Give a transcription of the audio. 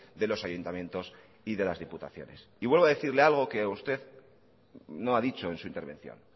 de los ayuntamientos y de las diputaciones y vuelvo a decirle algo que usted no ha dicho en su intervención